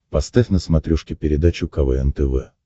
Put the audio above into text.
поставь на смотрешке передачу квн тв